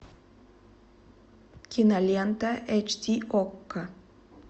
кинолента эйч ди окко